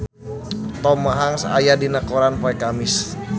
Tom Hanks aya dina koran poe Kemis